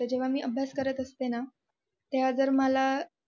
तर मी जेव्हा अभ्यास करत असते ना तेव्हा जर मला